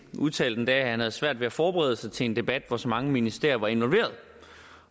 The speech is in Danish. udtalte at han havde svært ved at forberede sig til en debat om hvor så mange ministerier var involveret